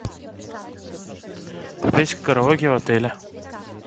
попеть караоке в отеле